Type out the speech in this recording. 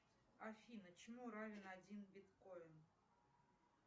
афина чему равен один биткоин